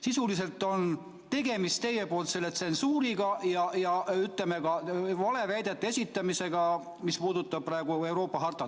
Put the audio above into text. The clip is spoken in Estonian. Sisuliselt on tegemist teiepoolse tsensuuriga ja ka valeväidete esitamisega, mis puudutab Euroopa hartat.